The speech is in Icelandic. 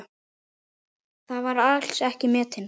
Þar var hann mikils metinn.